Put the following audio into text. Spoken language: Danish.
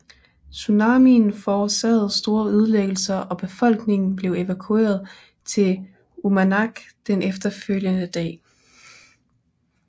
Tsunamien forårsagede store ødelæggelser og befolkningen blev evakueret til Uummannaq den efterfølgende dag